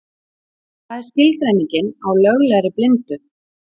Hvað er skilgreiningin á löglegri blindu?